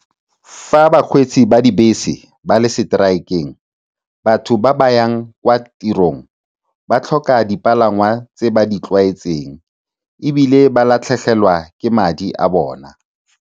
Fa bakgweetsi ba dibese ba le seteraekeng, batho ba ba yang kwa tirong ba tlhoka dipalangwa tse ba di tlwaetseng, ebile ba latlhegelwa ke madi a bona.